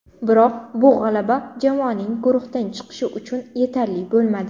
Biroq bu g‘alaba jamoaning guruhdan chiqishi uchun yetarli bo‘lmadi.